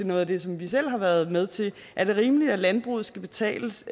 noget af det som vi selv har været med til er det rimeligt at landbruget skal betales